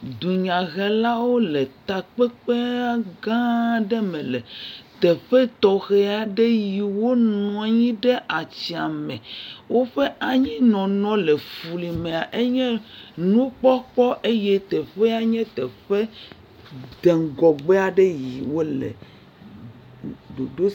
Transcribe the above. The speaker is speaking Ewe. Dunyahelawo le takpekpea gãa aɖe le teƒe tɔxɛ aɖe yi wo nɔ anyi ɖe atsiãme. woƒe anyinɔnɔ le flimea, enye nukpɔkpɔ eye teƒea nye teƒe de ŋgɔgbe aɖe yi wole. Ɖoɖo.